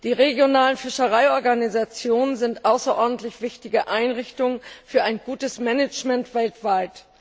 Die regionalen Fischereiorganisationen sind außerordentlich wichtige Einrichtungen für ein gutes Management weltweit.